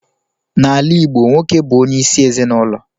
N'ala Igbo, nwoke bu onye isi ezinulo.